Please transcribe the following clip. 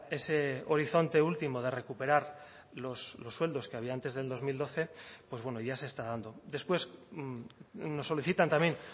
ese horizonte último de recuperar los sueldos que había antes del dos mil doce pues bueno ya se está dando después nos solicitan también